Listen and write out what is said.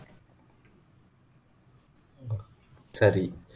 சரி